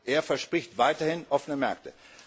Er verspricht weiterhin offene Märkte.